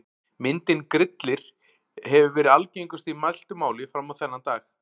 Myndin Grillir hefur verið algengust í mæltu máli fram á þennan dag.